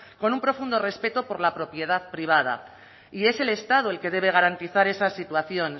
con un profundo respeto por la propiedad privada y es el estado el que debe garantizar esa situación